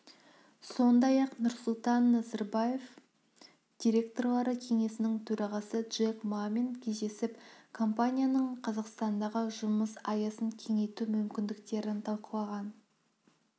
сондай-ақ нұрсұлтан назарбаев директорлары кеңесінің төрағасы джек мамен кездесіп компанияның қазақстандағы жұмыс аясын кеңейту мүмкіндіктерін талқылаған